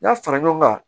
N'a fara ɲɔgɔn kan